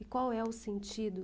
E qual é o sentido?